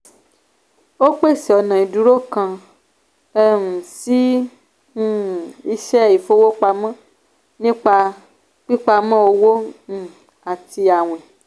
ó pèsè ọ̀nà ìdúró kan um sí um iṣẹ ìfowópamọ́ nípa pípamọ́ owó um àti àwìn.